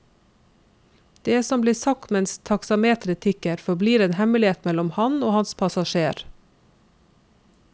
Det som blir sagt mens taksameteret tikker, forblir en hemmelighet mellom ham og hans passasjer.